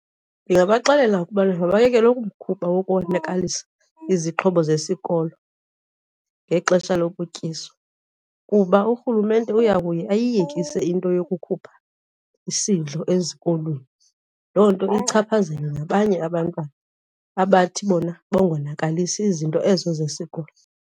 Ndingabaxelela ukubana mabayeke lo mkhuba wokonakalisa izixhobo zesikolo ngexesha lokutyiswa kuba urhulumente uyakuye ayiyekise into yokukhupha isidlo ezikolweni. Loo nto ichaphazele nabanye abantwana abathi bona bangonakalisi izinto ezo zesikolo.